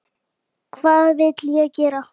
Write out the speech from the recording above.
Hvað vill ég gera?